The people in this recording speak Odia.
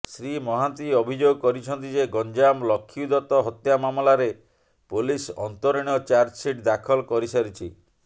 ଶ୍ରୀ ମହାନ୍ତି ଅଭିଯୋଗ କରିଛନ୍ତି ଯେ ଗଞ୍ଜାମ ଲକ୍ଷ୍ମୀଦତ ହତ୍ୟା ମାମଲାରେ ପୋଲିସ ଅନ୍ତରୀଣ ଚାର୍ଜସିଟ ଦାଖଲ କରିସାରିଛି